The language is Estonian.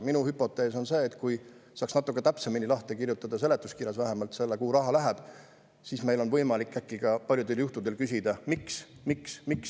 Minu hüpotees on see, et kui saaks natuke täpsemini lahti kirjutada seletuskirjas vähemalt selle, kuhu raha läheb, siis oleks meil äkki paljudel juhtudel võimalik küsida: miks, miks, miks?